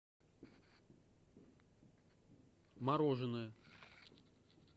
мороженое